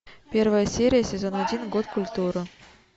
первая серия сезон один год культуры